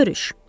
Görüş.